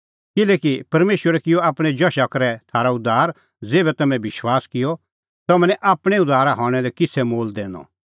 किल्हैकि परमेशरै किअ आपणैं जशा करै थारअ उद्धार ज़ेभै तम्हैं विश्वास किअ तम्हैं निं आपणैं उद्धार हणां लै किछ़ै मोल दैनअ